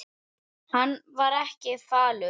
Hann var ekki falur.